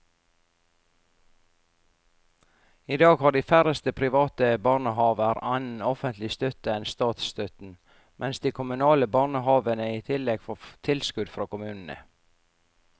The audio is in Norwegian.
I dag har de færreste private barnehaver annen offentlig støtte enn statsstøtten, mens de kommunale barnehavene i tillegg får tilskudd fra kommunene.